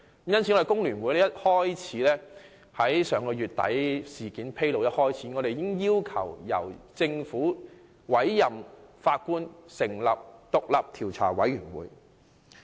香港工會聯合會在上月底事件披露之初，已經要求政府委任法官，以成立獨立調查委員會。